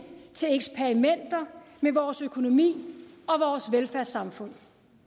til eksperimenter med vores økonomi og vores velfærdssamfund